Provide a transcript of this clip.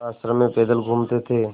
वह आश्रम में पैदल घूमते थे